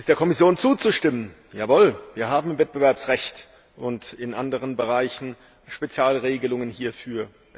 Es ist der Kommission zuzustimmen Jawohl, wir haben im Wettbewerbsrecht und in anderen Bereichen Spezialregelungen hierfür.